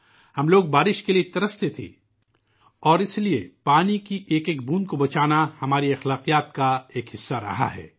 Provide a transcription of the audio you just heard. ہم بارش کے لئے ترستے تھے اور اسی لیے پانی کی ایک ایک بوند کی حفاظت کرنا ہماری روایات ، ہماری ثقافت کا حصہ رہا ہے